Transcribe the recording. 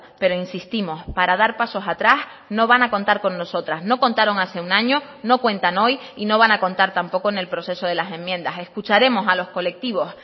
pero insistimos para dar pasos atrás no van a contar con nosotras no contaron hace un año no cuentan hoy y no van a contar tampoco en el proceso de las enmiendas escucharemos a los colectivos